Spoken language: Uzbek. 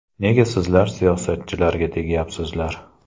Nega sizlar siyosatchilarga tegyapsizlar?!